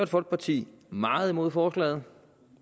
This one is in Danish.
folkeparti meget imod forslaget